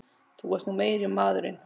Þú ert nú meiri maðurinn!